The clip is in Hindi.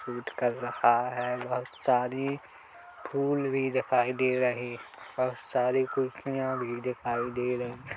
शूट कर रहा है बहुत सारी फूल भी दिखाई दे रही बहुत सारी कुर्सियाँ भी दिखाई दे रहीं--